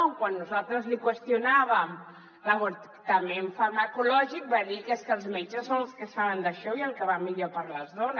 quan nosaltres li qüestionàvem l’avortament farmacològic va dir que és que els metges són els que saben d’això i el que va millor per a les dones